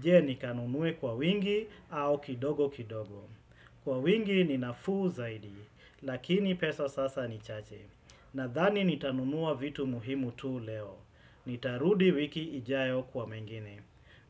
je nikanunuwe kwa wingi au kidogo kidogo. Kwa wingi ni nafuu zaidi, lakini pesa sasa ni chache. Nathani nitanunua vitu muhimu tu leo. Nitarudi wiki ijayo kwa mengine.